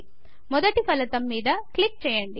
మొదటి ఫలితం మీద క్లిక్ చేయండి